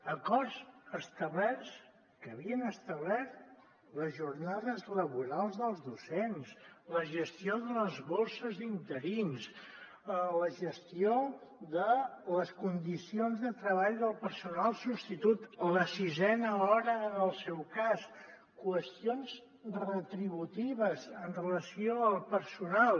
acords establerts que havien establert les jornades laborals dels docents la gestió de les bosses d’interins la gestió de les condicions de treball del personal substitut la sisena hora en el seu cas qüestions retributives amb relació al personal